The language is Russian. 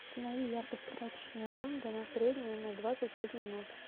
установи яркость прачечная комната на среднюю на двадцать пять минут